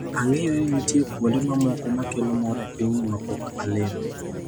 "Ang'eyo ni nitie kuonde mamoko ma kelo mor e pinyni ma pok alimo."